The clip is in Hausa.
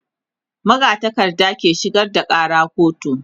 magatakarda ke shigar da Kara kotu